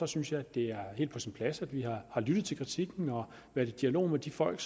synes jeg det er helt på sin plads at vi har lyttet til kritikken og været i dialog med de folk